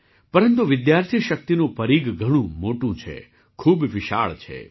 પરંતુ વિદ્યાર્થી શક્તિનું પરીઘ ઘણું મોટું છે ખૂબ વિશાળ છે